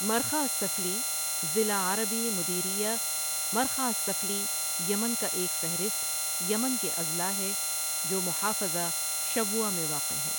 مرخہ السفلی ضلع عربی مديرية مرخة السفلى یمن کا ایک فہرست یمن کے اضلاع ہے جو محافظہ شبوہ میں واقع ہے